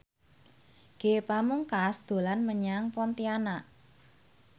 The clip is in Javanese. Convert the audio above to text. Ge Pamungkas dolan menyang Pontianak